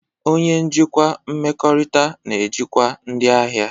Onye njikwa mmekọrịta na-ejikwa ndị ahịa.